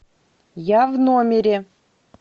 я в номере